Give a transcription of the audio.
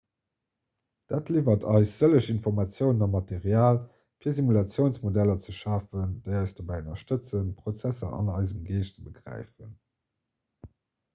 dat liwwert eis sëlleg informatiounen a material fir simulatiounsmodeller ze schafen déi eis dobäi ënnerstëtzen prozesser an eisem geescht ze begräifen